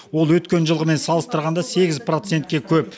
ол өткен жылғымен салыстырғанда сегіз процентке көп